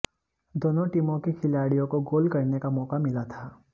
दोनों टीमों के खिलाड़ियों को गोल करने का मौका मिला था